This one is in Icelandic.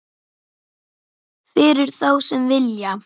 Fyrir þá sem vilja.